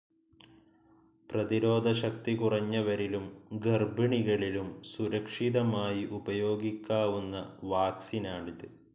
പ്രതിരോധശക്തി കുറഞ്ഞവരിലും ഗർഭിണികളിലും സുരക്ഷിതമായി ഉപയോഗിക്കാവുന്ന വാക്സിനാണിത്.